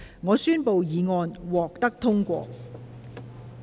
我宣布議案獲得通過。